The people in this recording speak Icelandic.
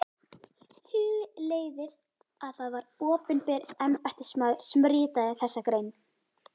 Hugleiðið að það var opinber embættismaður sem ritaði þessa grein.